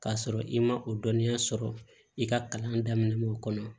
K'a sɔrɔ i ma o dɔnniya sɔrɔ i ka kalan daminɛ o kɔnɔ